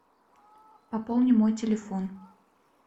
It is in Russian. пополни мой телефон